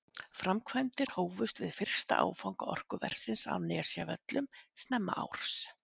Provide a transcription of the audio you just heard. Framkvæmdir hófust við fyrsta áfanga orkuversins á Nesjavöllum snemma árs.